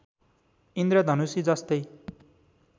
इन्द्रधनुषी जस्तै